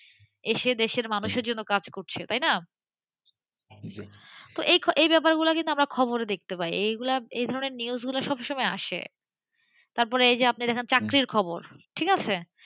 এসে দেশের মানুষের জন্য কাজ করছেতাই না? তো এই ব্যপারগুলো কিন্তু আমরা খবরে দেখতে পাইএই ধরনের নিউজ গুলো সব সময় আসেতারপর এই যে আপনি দেখেন চাকরির খবর, ঠিক আছে,